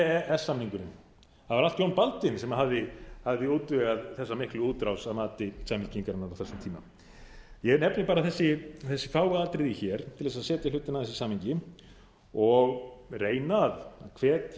s samningurinn það var allt jón baldvin sem hafði útvegað þessa miklu útrás að mati samfylkingarinnar á þessum tíma ég nefni bara þessi fáu atriði hér til þess að setja hlutina aðeins í samhengi og reyna að hvetja